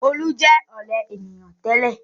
Olú jẹ ọ̀lẹ ènìyàn tẹ́lẹ̀.